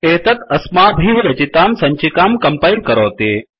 एतत् अस्माभिः रचितां सञ्चिकां कंपैल करोति